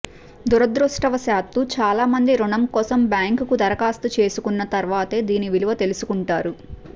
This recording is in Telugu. దురదృష్టవశాత్తూ చాలామంది రుణం కోసం బ్యాంకుకు దరఖాస్తు చేసుకున్న తర్వాతే దీని విలువ తెలుసుకుంటారు